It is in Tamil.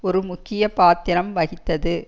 ஒரு முக்கிய பாத்திரம் வகித்தது